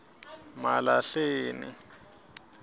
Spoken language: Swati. malahleni